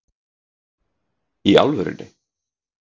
Í alvörunni?